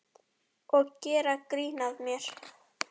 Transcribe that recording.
Og gera grín að mér.